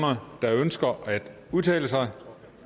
andre der ønsker at udtale sig